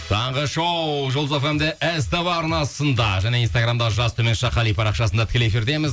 таңғы шоу жұлдыз фм де ств арнасында және инстаграмда жас қали парақшасында тікелей эфирдеміз